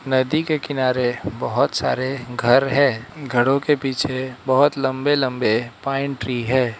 नदी के किनारे बहुत सारे घर हैं घरों के पीछे बहुत लंबे लंबे पाइन ट्री है।